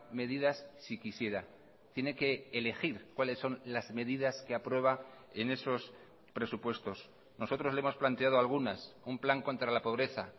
medidas si quisiera tiene que elegir cuáles son las medidas que aprueba en esos presupuestos nosotros le hemos planteado algunas un plan contra la pobreza